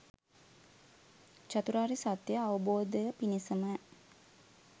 චතුරාර්ය සත්‍යය අවබෝධය පිණිසම